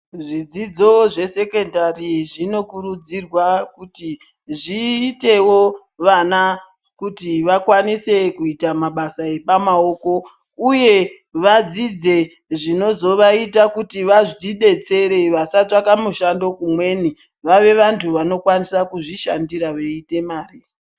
Zvidzidzo zvesekondari zvinokurudzirwa kuti zviitewo vana kuti vakwanise kuita mabasa epa maoko uye vadzidze zvinozvaita kuti vadzidetsere vasatsvaka mushando kumweni vave vantu vanokwanisa kuzvishandira vaite mari.